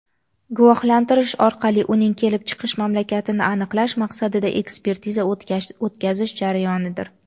guvohlantirish orqali uning kelib chiqish mamlakatini aniqlash maqsadida ekspertiza o‘tkazish jarayonidir.